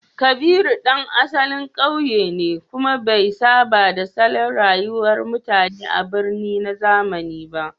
Kabiru ɗan asalin ƙauye ne, kuma bai saba da salon rayuwar mutane a birni na zamani ba.